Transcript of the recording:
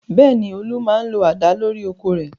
Bẹ́ẹ̀ ni, Olú máa ń lo àdá lórí oko rẹ̀.